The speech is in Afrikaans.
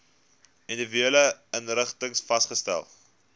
individuele inrigtings vasgestel